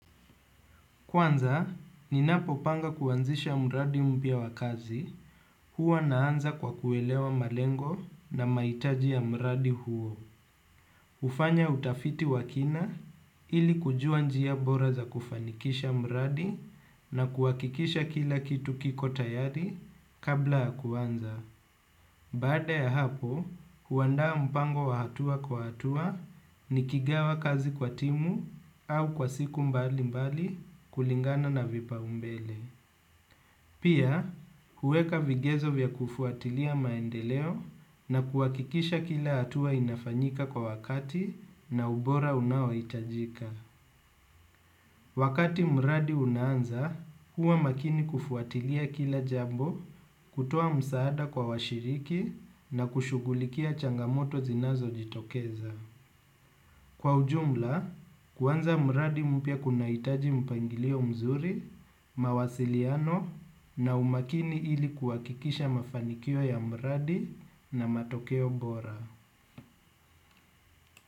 Kwanza, ninapo panga kuwanzisha muradi mpia wakazi, huwa naanza kwa kuelewa malengo na maitaji ya muradi huo. Ufanya utafiti wakina ili kujua njia bora za kufanikisha muradi na kuwakikisha kila kitu kiko tayari kabla hakuwanza. Baada ya hapo, huanda mpango wa hatua kwa hatua ni kigawa kazi kwa timu au kwa siku mbali mbali kulingana na vipa umbele. Pia, huweka vigezo vya kufuatilia maendeleo na kuwakikisha kila hatua inafanyika kwa wakati na ubora unawoitajika. Wakati mradi unaanza huwa makini kufuatilia kila jambo kutoa msaada kwa washiriki na kushughulikia changamoto zinazojitokeza. Kwa ujumla, kuanza mradi mpya kunahitaji mpangilio mzuri, mawasiliano na umakini ili kuhakikisha mafanikio ya mradi na matokeo bora.